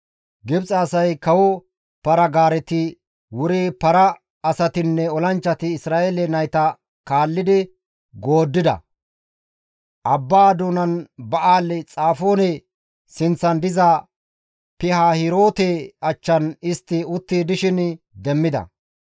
Gibxe asay kawo para-gaareti wuri para asatinne olanchchati Isra7eele nayta kaalli gooddida. Abbaa doonan Ba7aali-Xafoone sinththan diza Pihaahiroote achchan istti utti dishin demmida.